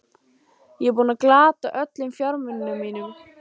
Ég er búinn að glata öllum fjármunum mínum.